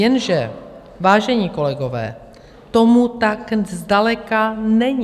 Jenže, vážení kolegové, tomu tak zdaleka není.